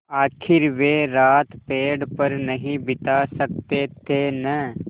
आखिर वे रात पेड़ पर नहीं बिता सकते थे न